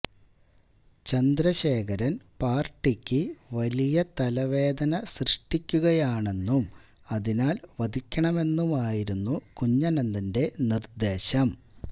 ചന്ദ്രശേഖരന് പാര്ട്ടിക്ക് വലിയ തലവേദന സൃഷ്ടിക്കുകയാണെന്നും അതിനാല് വധിക്കണമെന്നുമായിരുന്നു കുഞ്ഞനന്തന്റെ നിര്ദ്ദേശം